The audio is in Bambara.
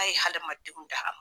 hadamadenw da.